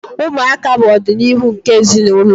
Ụmụaka bụ ọdịnihu nke ezinụlọ.